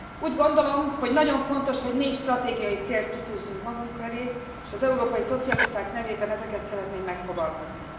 Úgy gondolom, hogy nagyon fontos, hogy négy stratégiai célt kitűzzünk magunk elé, s az európai Szocialisták nevében ezeket szeretném megfogalmazni.